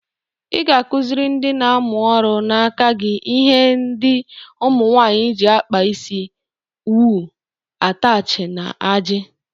Ị ga-akụziri ndị na-amụ ọrụ n'aka gi ihe ndị ụmụnwanyị ji akpa isi: owu, atachi, na aji.